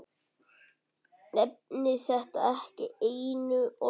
Nefndi þetta ekki einu orði.